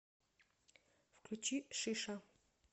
включи шиша